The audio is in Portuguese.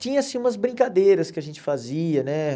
Tinha, assim, umas brincadeiras que a gente fazia, né?